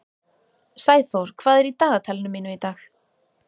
Sæþór, hvað er í dagatalinu mínu í dag?